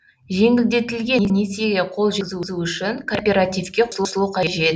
жеңілдетілген несиеге қол жеткізу үшін кооперативке қосылу қажет